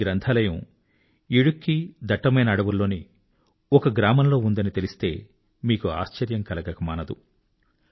ఈ లైబ్రరీ ఇడుక్కి ఇడుక్కి దట్టమైన అడవుల్లోని ఒక గ్రామంలో ఉందని తెలిస్తే మీకు ఆశ్చర్యం కలగక మానదు